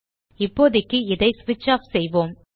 இப்போதைக்கு இதை ஸ்விட்ச் ஆஃப் செய்வோம்